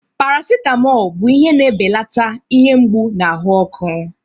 Paracetamol bụ ihe na-ebelata ihe mgbu na ahụ ọkụ.